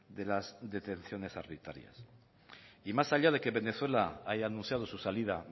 de las detenciones arbitrarias y más allá de que venezuela haya anunciado su salida